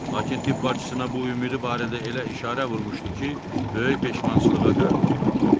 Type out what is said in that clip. Lakin tibb bacısına bu ümidi barədə elə işarə vurmuşdu ki, böyük peşmançılığa qərq oldu.